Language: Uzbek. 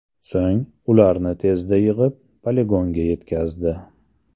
So‘ng, ularni tezda yig‘ib, poligonga yetkazdi.